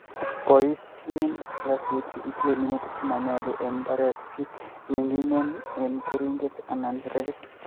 Boisye slasait ye itile minutik che manyolu eng' mbarek ce ming'inen eng' keringet anan rekit